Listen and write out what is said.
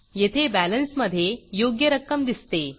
येथे बॅलन्समधे योग्य रक्कम दिसते